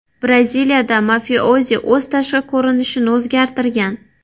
Braziliyada mafiozi o‘z tashqi ko‘rinishini o‘zgartirgan.